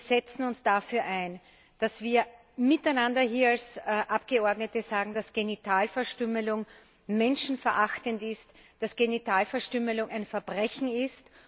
Wir setzen uns dafür ein, dass wir miteinander hier als Abgeordnete sagen, dass Genitalverstümmelung menschenverachtend ist, dass Genitalverstümmelung ein Verbrechen ist.